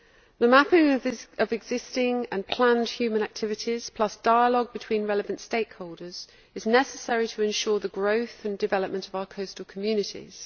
The mapping of existing and planned human activities, plus dialogue between relevant stakeholders, is necessary to ensure the growth and development of our coastal communities.